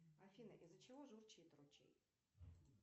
афина из за чего журчит ручей